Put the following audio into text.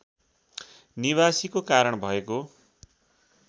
निवासीको कारण भएको